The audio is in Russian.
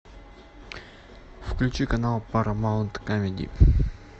включи канал парамаунт камеди